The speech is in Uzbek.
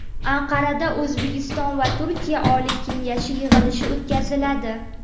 Anqarada O‘zbekiston va Turkiya Oliy kengashi yig‘ilishi o‘tkaziladi.